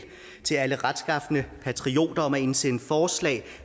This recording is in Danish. til alle retskafne patrioter om at indsende forslag